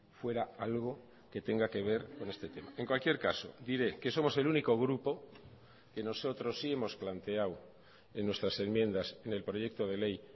fuera algo que tenga que ver en este tema en cualquier caso diré que somos el único grupo que nosotros sí hemos planteado en nuestras enmiendas en el proyecto de ley